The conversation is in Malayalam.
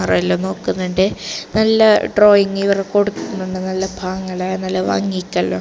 എല്ലാം നോക്കുന്നുണ്ട് നല്ല ഡ്രോയിങ് ഇവർ കൊടുക്കുന്നുണ്ട് നല്ല പാങ്ങേല്ലാ നല്ല വാങ്ങിയിട്ടെല്ല--